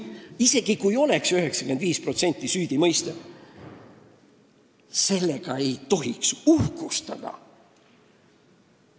Isegi kui süüdimõistmise protsent oleks 95, ei tohiks sellega uhkustada.